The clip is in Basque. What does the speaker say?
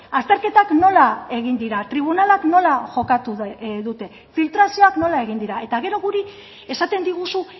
azterketak nola egin dira tribunalak nola jokatu dute filtrazioak nola egin dira eta gero guri esaten diguzu